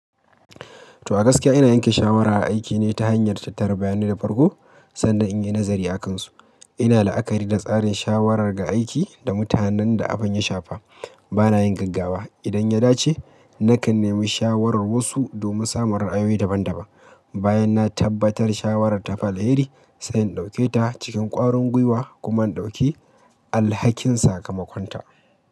To a gaskiya ina yanke shawara aiki ne ta hanyar tattare bayani da farko sannan in yi nazari a kansu. Ina la'akari da tsarin shawarar ga aiki da mutanen da abin ya shafa. Bana yin gaggawa. Idan ya dace, nakan nemi shawarar wasu domin samun ra'ayoyi daban-daban. Bayan na tabbatar shawarar ta fi alheri, sai in ɗauke ta cikin kwarin gwiwa kuma in ɗauki alhakin saka makwanta.